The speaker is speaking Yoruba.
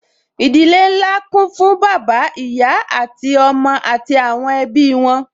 Ìdílé nlá kún fún bàbá, ìyá àwọn ọmọ àti àwọn ẹbí wọn